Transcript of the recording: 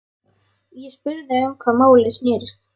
Ég spurði um hvað málið snerist.